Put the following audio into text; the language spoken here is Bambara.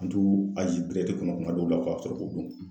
An t'u kuma dɔw la ka sɔrɔ k'u dun